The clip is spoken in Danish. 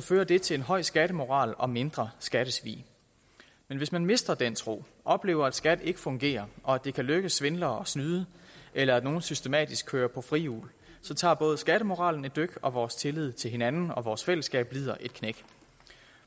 fører det til en høj skattemoral og mindre skattesvig men hvis man mister den tro oplever at skat ikke fungerer og at det kan lykkedes svindlere at snyde eller at nogle systematisk kører på frihjul tager både skattemoralen et dyk og vores tillid til hinanden og vores fællesskab lider et knæk